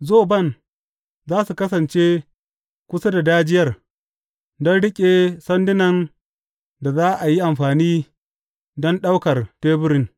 Zoban za su kasance kusa da dajiyar don riƙe sandunan da za a yi amfani don ɗaukar teburin.